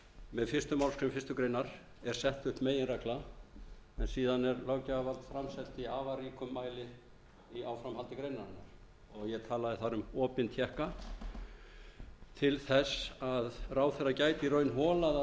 með fyrstu málsgrein fyrstu grein er sett upp meginregla en síðan er löggjafarvald framselt í afarríkum mæli í áframhald greinarinnar ég talaði þar um opinn tékka til þess að ráðherra gæti í raun holað að innan megintilgang og meginsjónarmið sem